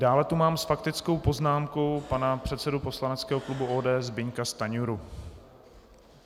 Dále tu mám s faktickou poznámkou pana předsedu poslaneckého klubu ODS Zbyňka Stanjuru.